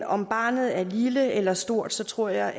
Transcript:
om barnet er lille eller stort så tror jeg